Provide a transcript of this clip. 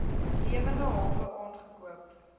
lewende hawe aangekoop